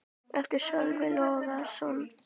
eftir Sölva Logason